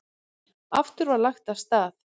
Aftur var lagt af stað.